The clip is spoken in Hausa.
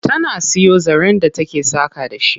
Tana siyo zaren da take saƙa da shi.